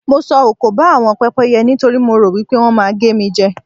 Mo sọ òkò ba àwọn pẹ́pẹ́yẹ yen nítorí mo rò wí pé wọ́n máa gé mi jẹ.